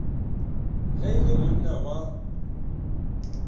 ge e le monna wa